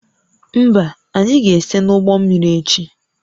Mba, anyị ga-ese n'ụgbọ mmiri echi